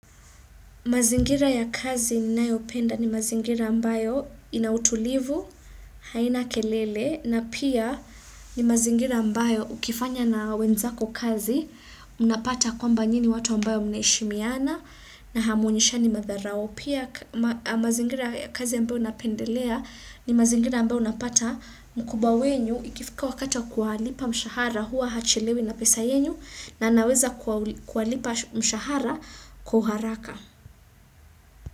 Mazingira ya kazi ninayopenda ni mazingira ambayo ina utulivu, haina kelele, na pia ni mazingira ambayo ukifanya na wenzako kazi, unapata kwamba nyinyi watu ambao mnaheshimiana na hamuonyeshani madharau. Pia mazingira ya kazi ambayo napendelea ni mazingira ambayo napata mkubwa wenu ikifika wakati kuwalipa mshahara huwa hachelewi na pesa yenu na anaweza kuwalipa mshahara kwa uharaka.